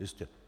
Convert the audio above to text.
Jistě.